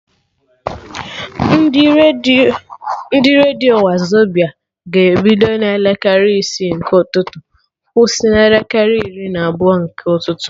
Ndị redio Wazobia ga-ebido na elekere isi nke ụtụtụ kwụsị na elekere iri na abụọ nke ụtụtụ